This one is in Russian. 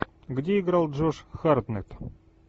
где играл джош хартнетт